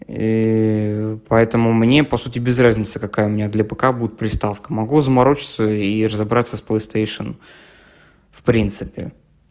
ии поэтому мне по сути без разницы какая у меня для пк будет приставка могу заморочиться и разобраться с плэйстэйшном в принципе